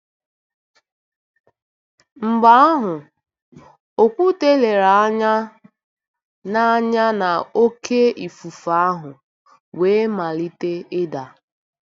Mgbe ahụ, Okwute lere anya na anya na oké ifufe ahụ wee malite ịda.